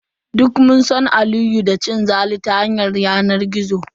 Duk mun san Aliyu da cin zali ta yanar gizo.